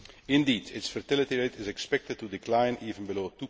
Indeed, its fertility rate is expected to decline even below